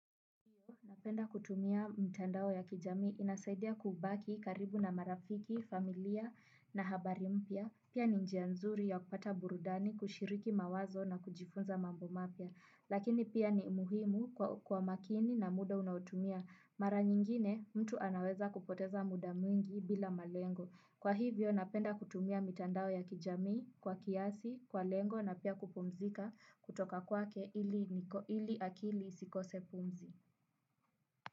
Napenda kutumia mtandao ya kijami inasadia kubaki karibu na marafiki, familia na habari mpya. Pia ni njianzuri ya kupata burudani kushiriki mawazo na kujifunza mambo mapya. Lakini pia ni umuhimu kuwa makini na muda unautumia. Mara nyingine mtu anaweza kupoteza muda mwingi bila malengo. Kwa hivyo napenda kutumia mitandao ya kijamii kwa kiasi, kwa lengo na pia kupumzika kutoka kwake ili akili isikose pumzi.